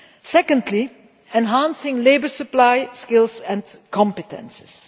Secondly enhancing the labour supply, skills and competences.